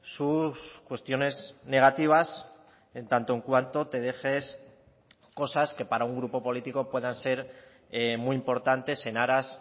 sus cuestiones negativas en tanto en cuanto te dejes cosas que para un grupo político puedan ser muy importantes en aras